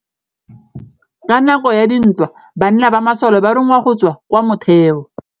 Ka nakô ya dintwa banna ba masole ba rongwa go tswa kwa mothêô.